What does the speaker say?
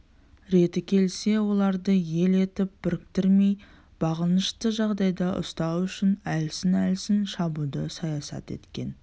реті келсе оларды ел етіп біріктірмей бағынышты жағдайда ұстау үшін әлсін-әлсін шабуды саясат еткен